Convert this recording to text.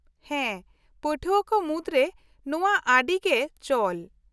-ᱦᱮᱸ ᱯᱟᱹᱴᱷᱩᱣᱟᱹ ᱠᱚ ᱢᱩᱫᱨᱮ ᱱᱚᱶᱟ ᱟᱹᱰᱤ ᱜᱮ ᱪᱚᱞ ᱾